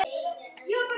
Æ, amma, hvar ertu?